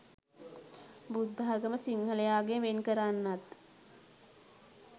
බුද්ධාගම සිංහලයාගෙන් වෙන් කරන්නත්